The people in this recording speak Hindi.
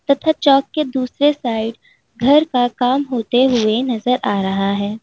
तथा चौक के दूसरे साइड घर का काम होते हुए नजर आ रहा है।